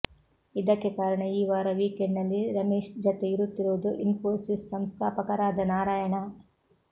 ಇದಕ್ಕೆ ಕಾರಣ ಈ ವಾರ ವಿಕೆಂಡ್ ನಲ್ಲಿ ರಮೇಶ್ ಜತೆ ಇರುತ್ತಿರುವುದು ಇನ್ಫೋಸಿಸ್ ಸಂಸ್ಥಾಪಕರಾದ ನಾರಾಯಣ